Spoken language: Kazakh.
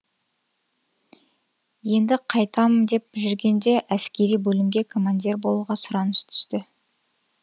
енді қайтам деп жүргенде әскери бөлімге командир болуға сұраныс түсті